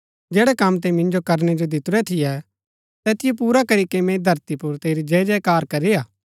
जैड़ै कम तैंई मिन्जो करनै जो दितुरै थियै तैतिओ पुरा करीके मैंई धरती पुर तेरी जय जयकार करी हा